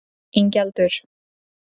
Ingjaldur